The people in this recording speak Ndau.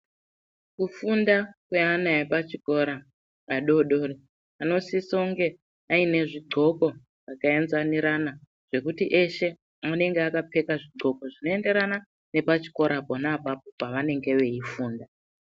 Kufunda kweana epachikora adodori anosisa kunge aine zvigqoko zvakaenzanirana zvekuti eshe anenge akapfeka zvigqoko zvinoenderana nepachikora pona apapo pavanenge veifunda.